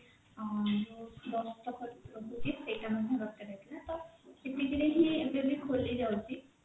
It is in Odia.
ଆଁ ଯୋଉ ଦସ୍ତଖତ ରହୁଛି ସେଇଟା ମଧ୍ୟ ଦରକାର ହେଇଥିଲା ତ ଏତିକି ରେ ହିଁ ଏବେ ବି ଖୋଲି ଯାଉଛି।